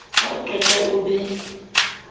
ha o qeta o be